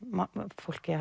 fólk eigi